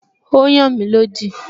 Ó n yàn mí lódì